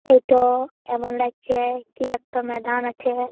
এটা এমন লাগছে কি একটা ময়দান আছে।